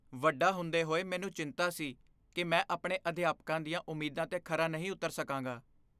ਵੱਡਾ ਹੁੰਦੇ ਹੋਏ, ਮੈਨੂੰ ਚਿੰਤਾ ਸੀ ਕਿ ਮੈਂ ਆਪਣੇ ਅਧਿਆਪਕਾਂ ਦੀਆਂ ਉਮੀਦਾਂ 'ਤੇ ਖਰਾ ਨਹੀਂ ਉੱਤਰ ਸਕਾਂਗਾ।